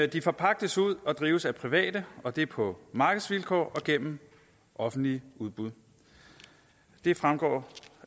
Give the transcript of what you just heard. de forpagtes ud og drives af private og det er på markedsvilkår og gennem offentlige udbud det fremgår